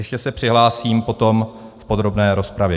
Ještě se přihlásím potom v podrobné rozpravě.